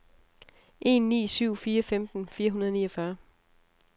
en ni syv fire femten fire hundrede og niogfyrre